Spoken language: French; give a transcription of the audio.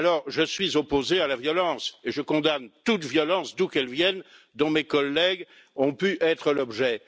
Je suis opposé à la violence et je condamne toute violence, d'où qu'elle vienne, dont mes collègues ont pu être l'objet.